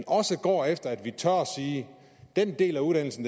også går efter at vi tør sige den del af uddannelse